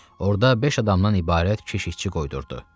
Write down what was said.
Orda beş adamdan ibarət keşikçi qoydurdu.